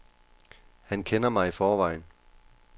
Han kender mig i forvejen.